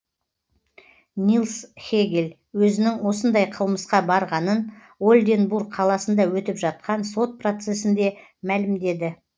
нилс хегель өзінің осындай қылмысқа барғанын ольденбург қаласында өтіп жатқан сот процесінде мәлімдеді